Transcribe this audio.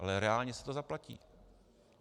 Ale reálně si to zaplatí.